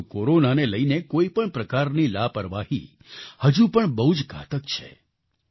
પરંતુ કોરોનાને લઈને કોઈપણ પ્રકારની લાપરવાહી હજુ પણ બહુ જ ઘાતક છે